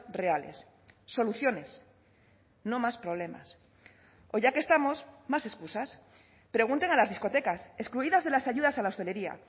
reales soluciones no más problemas o ya que estamos más excusas pregunten a las discotecas excluidas de las ayudas a la hostelería